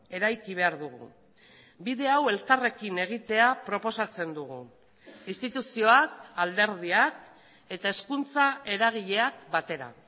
eraiki behar dugu bide hau elkarrekin egitea proposatzen dugu instituzioak alderdiak eta hezkuntza eragileak batera